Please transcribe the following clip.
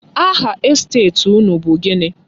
Aha estet unu bụ gịnị?